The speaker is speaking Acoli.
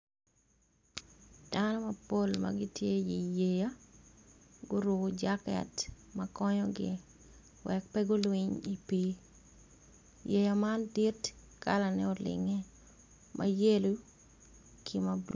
Dano mapol magitye i yeya guruko jaket ma konyogi wek pe gulwiny i pii yeya man dit kalane olinge ma yelo ki ma blu.